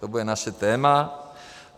To bude naše téma.